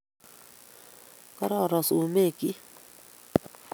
Kororon sumekchi